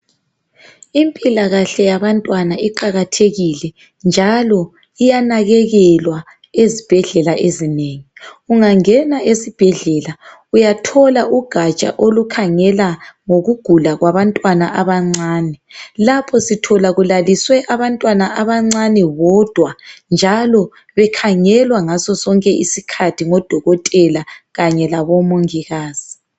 Impilakahle yabantwana iqakathekile njalo iyanakekelwa ezibhedlela ezinengi. Ungangena esibhedlela uyathola ugaja olukhangela ngokugula kwabantwana abancane. Lapho sithola kulaliswe abantwana abancane bodwa njalo bekhangelwa ngasosonke isikhathi ngodokotela kanye labomongikazi.